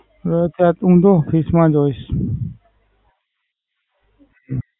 હમ ત્યાર તો હું Office માં જ હોઈશ.